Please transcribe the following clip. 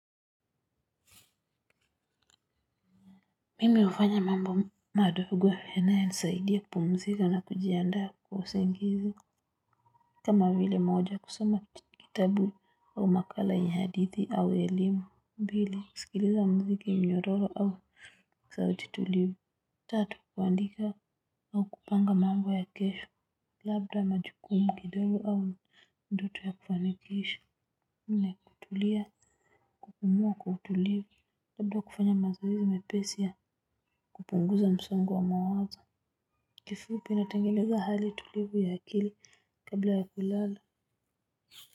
Mimi hufanya mambo madogo yanayosaidia kupumzika na kujiandaa kwa usingizi kama vile moja kusoma kitabu au makala ya hadithi au elimu mbili kusikiliza mziki nyororo au sauti tulivu tatu kuandika au kupanga mambo ya kesho labda majukumu kidogo au ndoto ya ufanikisho nne kutulia umua kwa utulivu labda kufanya mazoezi mepesi ya kupunguza msongo wa mawazo. Kifupi natengeneza hali tulivu ya akili kabla ya kulala.